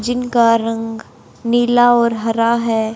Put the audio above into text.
जिनका रंग नीला और हरा है।